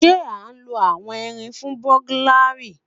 Ṣe a nlo awọn irin fun buglary?